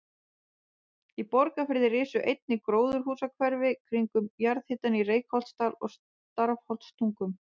Í Borgarfirði risu einnig gróðurhúsahverfi kringum jarðhitann í Reykholtsdal og Stafholtstungum.